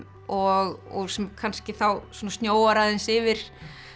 og sem kannski þá snjóar aðeins yfir